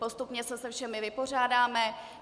Postupně se se všemi vypořádáme.